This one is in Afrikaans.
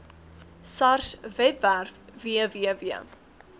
sars webwerf www